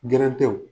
Gɛrɛntɛw